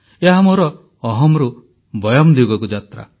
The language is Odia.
ଏହା ମୋର ଅହମ୍ରୁ ବୟମ୍ ଦିଗକୁ ଯାତ୍ରା